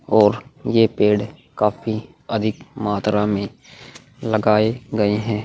और यह पेड़ काफी अधिक मात्रा में लगाए गए हैं।